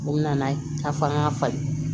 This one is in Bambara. U nana ye k'a fɔ an ka fali